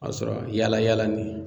A sɔrɔ yaala yaala nin